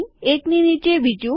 એક ની નીચે બીજું